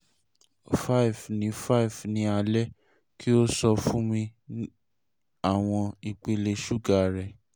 five ni five ni alẹ ki o sọ fun mi awọn ipele suga rẹ